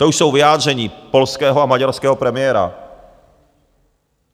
To už jsou vyjádření polského a maďarského premiéra.